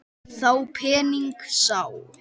Þá pening sá.